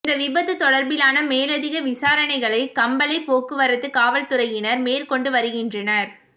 இந்த விபத்து தொடர்பிலான மேலதிக விசாரணைகளை கம்பளை போக்குவரத்து காவல்துறையினர் மேற் கொண்டு வருகின்றனர்